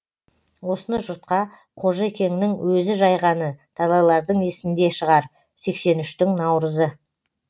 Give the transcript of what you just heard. осыны жұртқа қожа екеңнің өзі жайғаны талайлардың есінде шығар сексен үштің наурызы